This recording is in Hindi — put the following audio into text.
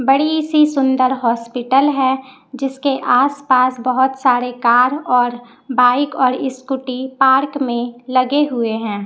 बड़ी सी सुंदर हॉस्पिटल है जिसके आस पास बहोत सारे कार और बाइक और स्कूटी पार्क में लगे हुए हैं।